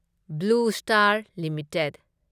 blue Star limited